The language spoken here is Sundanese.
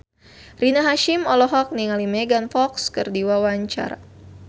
Rina Hasyim olohok ningali Megan Fox keur diwawancara